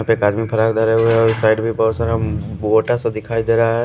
यहाँ पे एक आदमी फ्राक धरे हुए है और उस साइड भी बहुत सारा मोटा सा दिखाई दे रहा है।